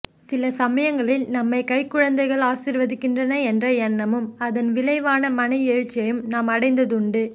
சில சமயங்களில் நம்மை கைக்குழந்தைகள் ஆசீர்வதிக்கின்றன என்ற எண்ணமும் அதன் விளைவான மன எழுச்சியையும் நான் அடைந்தது உண்டு